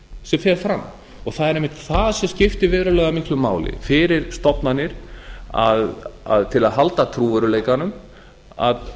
sem fer fram það er einmitt það sem skiptir verulega miklu máli fyrir stofnanir til að halda trúverðugleikanum að